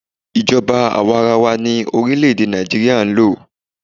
Ijoba àwarawa ni orílẹ̀-èdè Nàìjíríà ń lò.